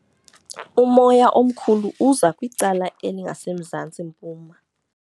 Umoya omkhulu uza kwicala elingasemzantsi-mpuma.